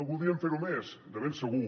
voldríem fer ho més de ben segur